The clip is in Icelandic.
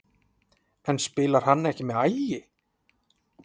En spilar hann ekki með Ægi?